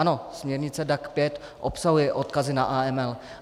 Ano, směrnice DAC 5 obsahuje odkazy na AML.